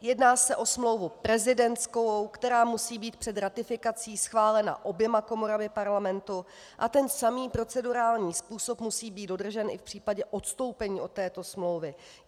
jedná se o smlouvu prezidentskou, která musí být před ratifikací schválena oběma komorami Parlamentu, a ten samý procedurální způsob musí být dodržen i v případě odstoupení od této smlouvy.